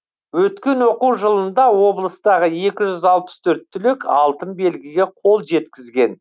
өткен оқу жылында облыстағы екі жүз алпыс төрт түлек алтын белгіге қол жеткізген